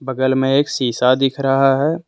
बगल में एक शीशा दिख रहा है।